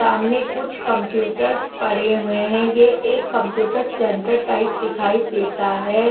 सामने कुछ कंप्यूटर्स पड़े हुए हैं ये एक कंप्यूटर सेंटर टाइप दिखाई देता है।